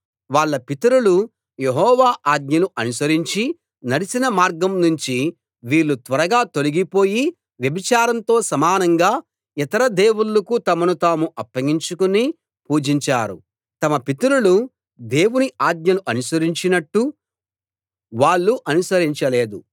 వాళ్ళ పితరులు యెహోవా ఆజ్ఞలు అనుసరించి నడిచిన మార్గం నుంచి వీళ్ళు త్వరగా తొలగిపోయి వ్యభిచారంతో సమానంగా ఇతర దేవుళ్ళకు తమను తాము అప్పగించుకుని పూజించారు తమ పితరులు దేవుని ఆజ్ఞలు అనుసరించినట్టు వాళ్ళు అనుసరించలేదు